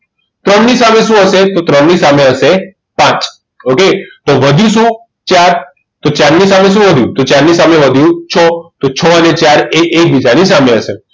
ત્રણની સામે શું હશે તો ત્રણ ની સામે હશે પાંચ okay તો વધ્યું શું ચાર તો ચાર ની સામે શું વધ્યું ચાર ની સામે વધ્યું છો છો અને ચાર એ એકબીજાની સામે હશે